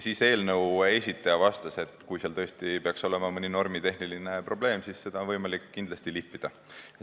Eelnõu esitaja vastas, et kui seal tõesti peaks olema mõni normitehniline probleem, siis on kindlasti võimalik sõnastust lihvida.